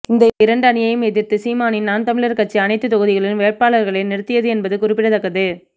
இந்த இரண்டு அணியையும் எதிர்த்து சீமானின் நாம் தமிழர் கட்சி அனைத்து தொகுதிகளிலும் வேட்பாளர்களை நிறுத்தியது என்பது குறிப்பிடத்தக்கது